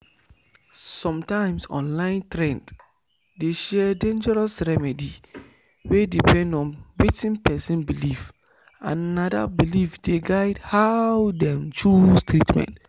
sometimes online trend dey share dangerous remedy wey depend on wetin person believe and na that belief dey guide how dem choose treatment."